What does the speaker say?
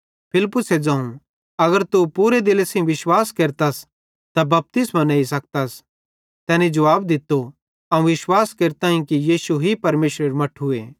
फिलिप्पुसे ज़ोवं अगर तू पूरे दिले सेइं विश्वास केरतस त बपतिस्मो नेही सकतस तैनी जुवाब दित्तो अवं विश्वास केरताईं कि यीशु ही परमेशरेरू मट्ठूए